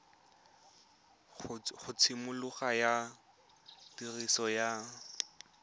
ga tshimologo ya tiriso ya